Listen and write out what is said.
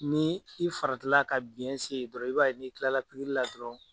Ni i farati la ka biyɛn se ye dɔrɔn i b'a ye n'i kila la pikiri la dɔrɔn.